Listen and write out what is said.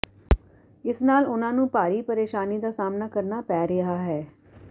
ਇਸ ਨਾਲ ਉਨ੍ਹਾਂ ਨੂੰ ਭਾਰੀ ਪ੍ਰੇਸ਼ਾਨੀ ਦਾ ਸਾਹਮਣਾ ਕਰਨਾ ਪੈ ਰਿਹਾ ਹੈ